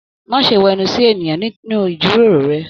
Má ṣe wẹnu sí èèyàn nínú ijiroro rẹ!